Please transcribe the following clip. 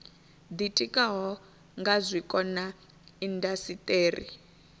ditikaho nga zwiko na indasiteri